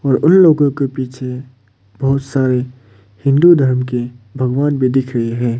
और उन लोगों के पीछे बहुत सारी हिंदू धर्म की भगवान भी दिख रही है।